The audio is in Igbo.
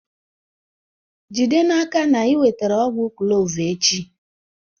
Jide n'aka na ị wetara ọgwụ kloovu echi!